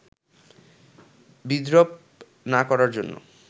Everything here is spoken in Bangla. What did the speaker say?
বিদ্রূপ না করার জন্য